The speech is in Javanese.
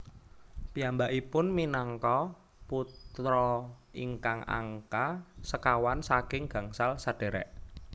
Piyambakipun minangka putra ingkang angka sekawan saking gangsal sadhèrèk